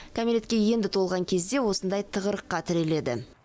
кәмелетке енді толған кезде осындай тығырыққа тіреледі